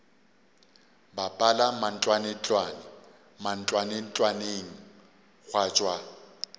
bapala mantlwantlwane mantlwantlwaneng gwa tšwa